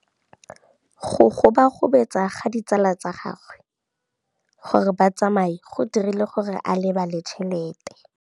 Go gobagobetsa ga ditsala tsa gagwe, gore ba tsamaye go dirile gore a lebale tšhelete.